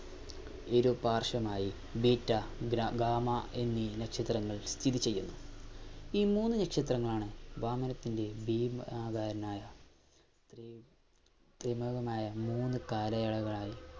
ഇരു പാർശ്വമായി beta gamma എന്നീ നക്ഷത്രങ്ങൾ സ്ഥിതി ചെയ്യുന്നു. ഈ മൂന്നു നക്ഷത്രങ്ങളാണ് വാ മനത്തിന്റെ ഭീമാകാരനായ മൂന്നു കാലയളവായി